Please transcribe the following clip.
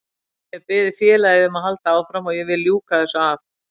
Ég hef beðið félagið um að halda áfram og ég vil ljúka þessu af.